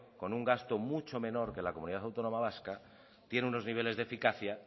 con un gasto mucho menor que la comunidad autónoma vasca tiene unos niveles de eficacia